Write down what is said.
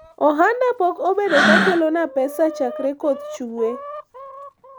ohanda po obedo ka kelo na pesa chakre koth chak chuwe